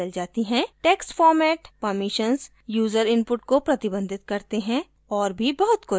text format permissions user input को प्रतिबंधित करते हैं और भी बहुत कुछ